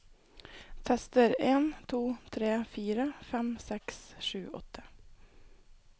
Tester en to tre fire fem seks sju åtte